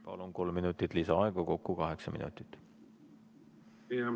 Palun, kolm minutit lisaaega, kokku kaheksa minutit!